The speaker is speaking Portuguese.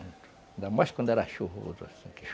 Ainda mais quando era chuvoso.